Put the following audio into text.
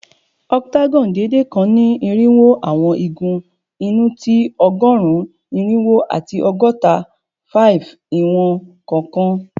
Octagon deede kan ni irinwo awọn igun inu ti ọgọrun irinwo ati ọgọta-5 iwọn kọọkan